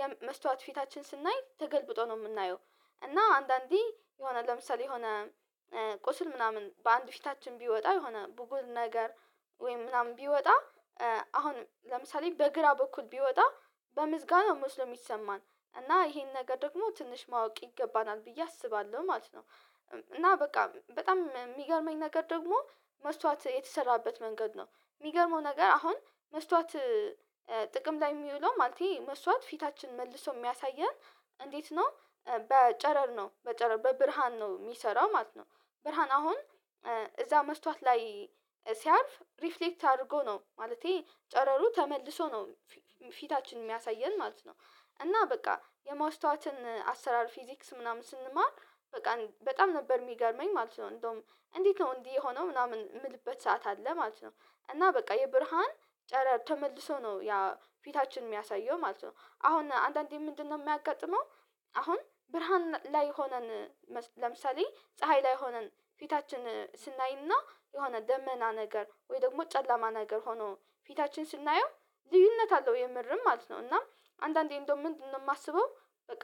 የመስታወት ፊታችን ስናይ ተገልብጦ ነው የምናየው እና አንዳንዴ የሆነ ለምሳሌ የሆነ ቁስል ምናምን በአንድ ፊታችን ቢወጣ የሆነ ብጉር ነገር ወይም ምናምን ቢወጣ አሁን ለምሳሌ በግራ በኩል ቢወጣ በምዝጋና መስሎ የሚሰማን እና ይሄን ነገር ደግሞ ትንሽ ማወቅ ይገባናል ብዬ አስባለሁ ማለት ነው። እና በቃ በጣም የሚገርመኝ ነገር ደግሞ መስዋዕት የተሰራበት መንገድ ነው የሚገርመው ነገር አሁን መስታወት ጥቅም ላይ የሚውለው ማለቴ መስታወት ፊታችን መልሶ የሚያሳየን እንዴት ነው በጨረር ነው በጨረር በብርሃን ነው የሚሰራው ማለት ነው። ብርሃን አሁን እዛ መስታወት ላይ ሲያርፍ ሪፍሌክት አድርጎ ነው ማለቴ ጨረሩ ተመልሶ ነው ፊታችን የሚያሳየን ማለት ነው። እና በቃ የማስታወትን አሰራር ፊዚክስ ምናምን ስንማር በቃ በጣም ነበር የሚገርመኝ ማለት ነው። እንደውም እንዴት ነው እንዲህ የሆነው ምናምን የምልበት ሰዓት አለ ማለት ነው። እና በቃ የብርሃን ጨረር ተመልሶ ነው ያ ፊታችን የሚያሳየው ማለት ነው። አሁን አንዳንዴ ምንድነው የሚያጋጥመው? አሁን ብርሃን ላይ ሆነን ለምሳሌ ፀሀይ ላይ ሆነን ፊታችን ስናይና የሆነ ደመና ነገር ወይ ደግሞ ጨለማ ነገር ሆኖ ፊታችን ስናየው ልዩነት አለው የምርም ማለት ነው እና አንዳንዴ እንደው ምንድነው የማስበው በቃ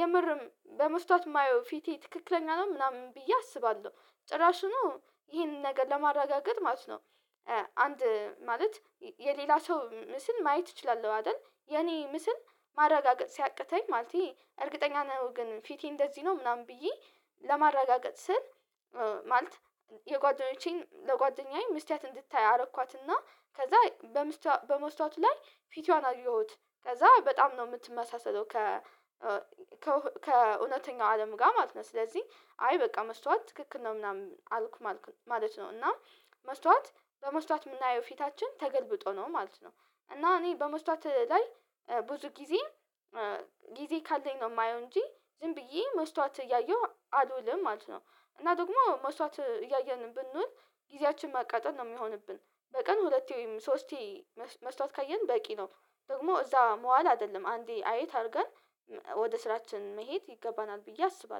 የምርም በመስታወት የማየው ፊቴ ትክክለኛ ነው ምናምን ብዬ አስባለሁ ጭራሽኑ ይሄንን ነገር ለማረጋገጥ ማለት ነው። አንድ ማለት የሌላ ሰው ምስል ማየት እችላለሁ አይደል የኔ ምስል ማረጋገጥ ሲያቅተኝ ማለቴ እርግጠኛ ነው ግን ፊቴ እንደዚህ ነው ምናምን ብዬ ለማረጋገጥ ስል ማለት የጓደኞቼን ለጓደኛዬ መስትያት እንድታይ አረኳትና ከዛ በመስታወት ላይ ፊቷን አየሁት ከዛ በጣም ነው የምትመሳሰለው ከእውነተኛው አለም ጋር ማለት ነው ስለዚህ አይ በቃ መስተዋት ትክክል ነው ምናምን አልኩ ማለት ነው እና መስታዋት በመስታዋት የምናየው ፊታችን ተገልብጦ ነው ማለት ነው። እና እኔ በመስታወት ላይ ብዙ ጊዜ ጊዜ ካለኝ ነው የማየው እንጂ ዝም ብዬ መስታወት እያየሁ አልውልም ማለት ነው። እና ደግሞ መስታወት እያየን ብንውል ጊዜያችን ማቃጠል ነው የሚሆንብን በቀን ሁለቴ ወይም ሶስቴ መስታወት ካየን በቂ ነው። ደግሞ እዛ መዋል አይደለም አንዴ አየት አድርገን ወደ ስራችን መሄድ ይገባናል ብዬ አስባለሁ